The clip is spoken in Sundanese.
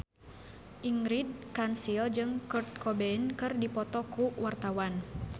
Ingrid Kansil jeung Kurt Cobain keur dipoto ku wartawan